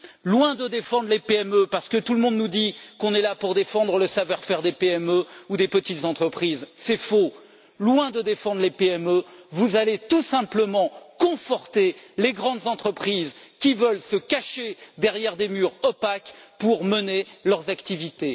Loin de défendre les PME parce que tout le monde nous dit qu'on est là pour défendre le savoir faire des PME ou des petites entreprises, ce qui est faux vous allez tout simplement conforter les grandes entreprises qui veulent se cacher derrière des murs opaques pour mener leurs activités.